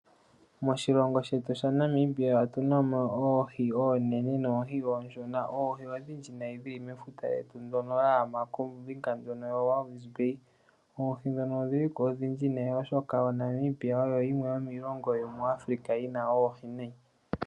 Moshilongo shetu sha Namibia otuna mo oohi oonene noohi oonshona. Oohi odhindji nayi dhili mefuta lyetu ndyono lya gama kombinga ndjono ya Walvis Bay. Oohi ndhono odhili ko odhindji nayi oshoka oNamibia oyo yimwe yomiilongo yomuAfrica yi na oohi nayi.